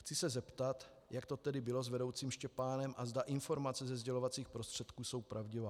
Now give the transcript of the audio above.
Chci se zeptat, jak to tedy bylo s vedoucím Štěpánem a zda informace ze sdělovacích prostředků jsou pravdivé.